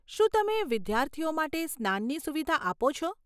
શું તમે વિદ્યાર્થીઓ માટે સ્નાનની સુવિધા આપો છો?